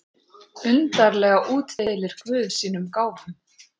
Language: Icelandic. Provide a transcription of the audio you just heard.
Undarlega útdeilir guð sínum gáfum.